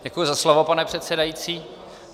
Děkuji za slovo, pane předsedající.